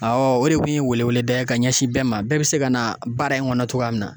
o de kun ye weleweleda ye ka ɲɛsin bɛɛ ma bɛɛ bi se ka na baara in kɔnɔ cogoya min na.